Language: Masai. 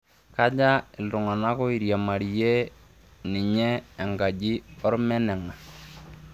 kaja iltung'anak oiriamarie ninye enkajin olmenenga